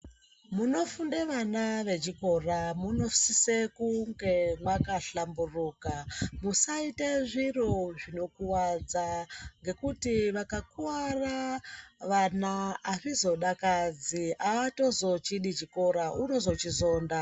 Munofunde vana vechikora munosise kunge maka hlamburuka musaite zviro zvinokuvadza. Ngekuti vakakuvara vana hazvi zodakadzi haatozochidi chikora uno zochizonda.